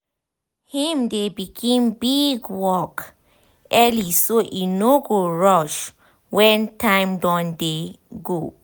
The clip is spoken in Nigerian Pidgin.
him dey begin big work early so e no go rush wen time don dey go